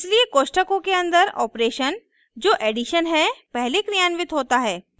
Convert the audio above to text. इसलिए कोष्ठकों के अंदर ऑपरेशन जो एडिशन है पहले क्रियान्वित होता है